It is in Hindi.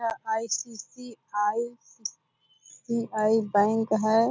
यहाँ आई.सी.सी.आई. सी.आई. बैंक है।